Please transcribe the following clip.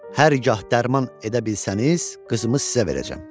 Hər gah dərman edə bilsəniz, qızımı sizə verəcəm.